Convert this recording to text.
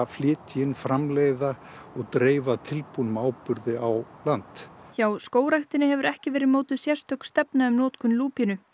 flytja inn framleiða og dreifa áburði á land hjá Skógræktinni hefur ekki verið mótuð sérstök stefna um notkun lúpínu